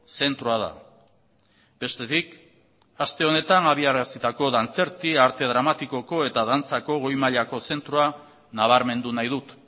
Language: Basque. zentroa da bestetik aste honetan abiarazitako dantzerti arte dramatikoko eta dantzako goi mailako zentroa nabarmendu nahi dut